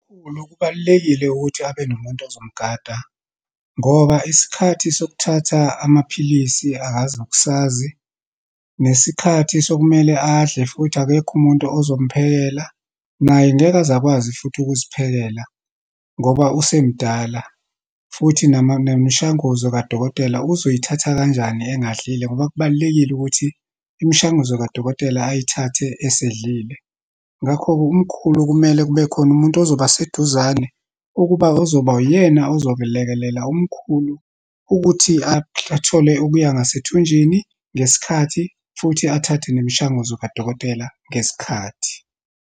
Umkhulu, kubalulekile ukuthi abe nomuntu ozomgada ngoba isikhathi sokuthatha amaphilisi akazi nokusazi, nesikhathi sokumele adle, futhi akekho umuntu ozomphekela. Naye ngeke aze akwazi futhi ukuziphekela, ngoba usemdala futhi nemishanguzo kadokotela uzoyithatha kanjani engadlile, ngoba kubalulekile ukuthi imishanguzo kadokotela ayithathe esedlile. Ngakho-ke, umkhulu, kumele kube khona umuntu ozoba seduzane, ukuba ozoba uyena ozokelekelela umkhulu ukuthi athole okuya ngasethunjini ngesikhathi, futhi athathe nemishanguzo kadokotela ngesikhathi.